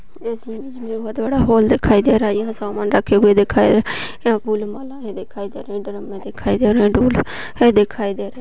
इस इमेज में बहुत बड़ा हॉल दिखाई दे रहा यहाँ सामान रखे हुए दिखाई यहाँ फुल मालाएं दिखाई दे रहे ड्रम दिखाई दे रहे डूल दिखाई दे रहे।